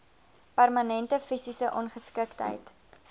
permanente fisiese ongeskiktheid